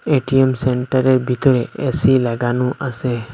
ATM সেন্টারের ভিতরে AC লাগানো আসে।